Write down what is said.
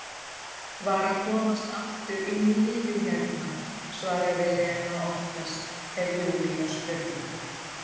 Var að komast aftur inn í lífið hérna, svaraði Lena oftast ef Júlía spurði.